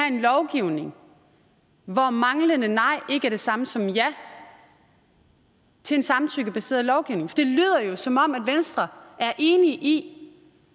en lovgivning hvor manglende nej ikke er det samme som ja til en samtykkebaseret lovgivning for det lyder jo som om venstre er enig i